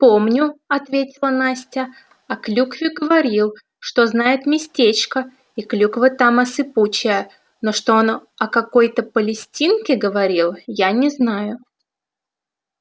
помню ответила настя о клюкве говорил что знает местечко и клюква там осыпучая но что он о какой-то палестинке говорил я не знаю